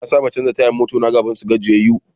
Na saba canza tayan mota na kafin su gajiyayyu.